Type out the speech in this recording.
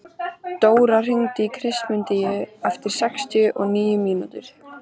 Dóra, hringdu í Kristmundínu eftir sextíu og níu mínútur.